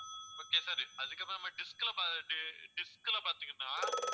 okay sir அதுக்கப்பறமா dish ல dish ல பாத்தீங்கன்னா